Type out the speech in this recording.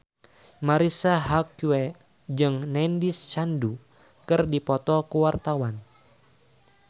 Marisa Haque jeung Nandish Sandhu keur dipoto ku wartawan